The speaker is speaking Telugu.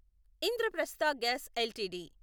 Indraprastha gas LTD